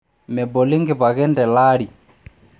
Meboli nkipaken telaari.